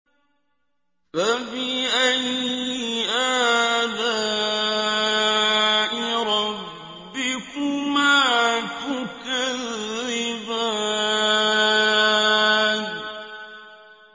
فَبِأَيِّ آلَاءِ رَبِّكُمَا تُكَذِّبَانِ